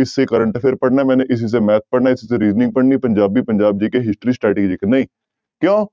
ਇਸ ਸੇ current affair ਪੜ੍ਹਨਾ ਮੈਨੇ ਇਸੀ ਸੇ math ਪੜ੍ਹਨਾ ਇਸੀ ਸੇ reasoning ਪੜ੍ਹਨੀ, ਪੰਜਾਬੀ, ਪੰਜਾਬ GK history ਨਹੀਂ ਕਿਉਂ,